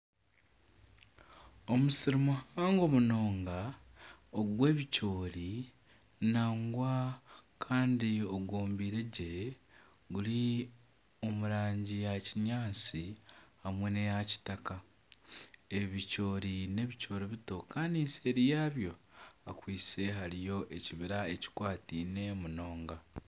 Omusiri muhango munonga ogw'ebicoori nangwa kandi ogwombiire gye guri omu rangi ya kinyaatsi hamwe n'eya kitaka. Ebicoori n'ebicoori bito kandi nseeri yabyo hakwaitse hariyo ekibira ekikwataine munonga.